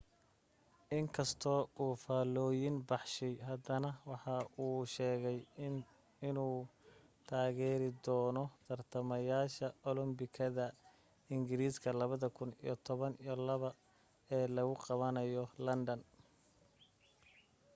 in kastoo uu faalllooyin baxshay haddana waxa uu sheegay inuu taageeri doono tartamayaasha olambikada ingiriiska 2012 ee lagu qabanayo london